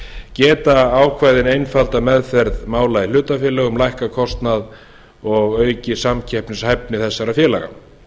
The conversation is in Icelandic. geta ákvæðin einfaldað meðferð mála í hlutafélögum lækkað kostnað og aukið samkeppnishæfni þessara félaga